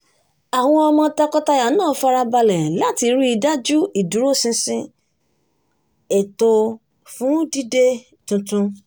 àwọn ọmọ tọkọtaya náà fara balẹ̀ ṣe ináwó wọn láti ríi dájú ìdùróṣinṣin ètò fún dídè tuntu